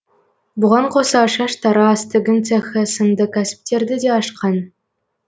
бұған қоса шаштараз тігін цехы сынды кәсіптерді де ашқан